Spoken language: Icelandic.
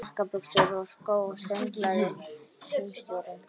Jakka, buxur og skó, sönglaði símstjórinn.